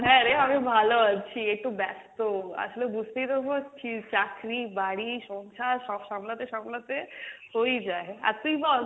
হ্যাঁ রে আমি ভালো আছি একটু ব্যাস্ত, আসলে বুঝতেই তো পারছিস চাকরি, বাড়ি, সংসার সব সামলাতে সামলাতে হয়েই যায়, আর তুই বল